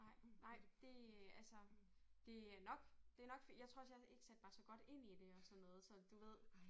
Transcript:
Nej nej det altså det er nok det nok jeg tror også jeg ikke sat mig så godt ind i det og sådan noget så du ved